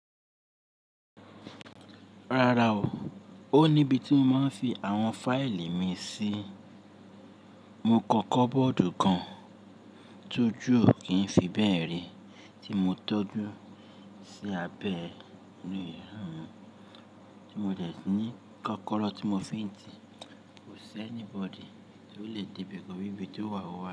Rárá o, ó ni íbi tí mo máa ń fi àwọn fáìlì mi sí. Mo kọ́kọ́ bọ́ọ̀dù kan tójú ò kí ń fi bẹ́ẹ̀ ré tí mo tọ́jú sí abẹ́ inú yàrá mi tí mo dẹ̀ ní kọ́kọ́rọ́ tí mo fi ń tì. Kò sí any bọ̀di tí ó le débe tọri ibí tió wà wá.